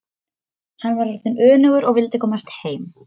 Hann var orðinn önugur og vildi komast heim.